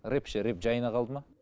рэп ше рэп жайын қалды ма